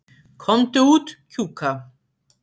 Komdu út, Kjúka.